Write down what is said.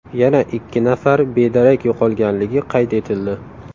Yana ikki nafari bedarak yo‘qolganligi qayd etildi.